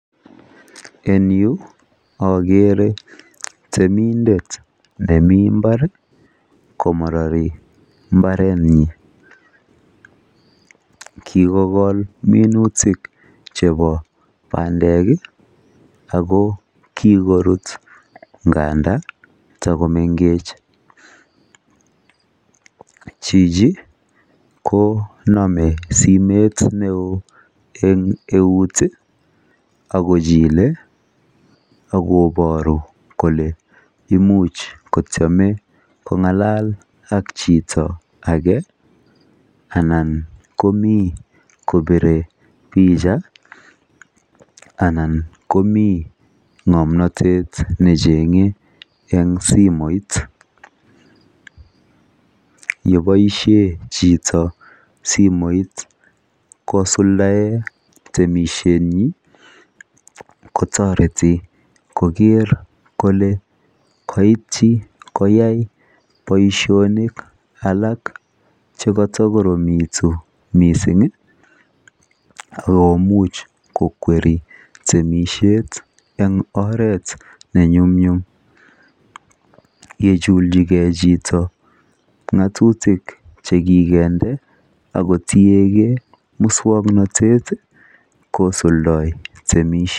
Eng yu akeere temindet nemi mbar komarari mbaretnyi. Kikokol minutik chebo bandek ako kikorut nganda takomengech. Chichi konome simet neoo eng eut akochile akobooru kole imuch kotiame kong'alal ak chito age, anan komi kobire picha ,anan komi ng'omnotet necheng'e eng simoit. Yeboisie chito simoit kosuldae temisietnyi, kotoreti koker kole koityi koyai boisionik alaak chekotokoromitu mising akomuch kokweri temisiet eng oret nenyumnyum. Yejuljigei chito ng'atutik chekikendnde akotiegei muswoknotet kosuldoi temisiet.